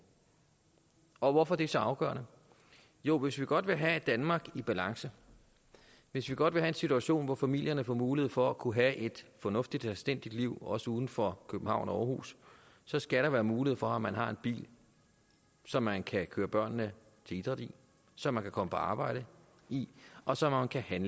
og hvorfor er det så afgørende jo hvis vi godt vil have et danmark i balance hvis vi godt vil have en situation hvor familierne får mulighed for at kunne have et fornuftigt og anstændigt liv også uden for københavn og århus så skal der være mulighed for at man har en bil som man kan køre børnene til idræt i som man kan komme på arbejde i og som man kan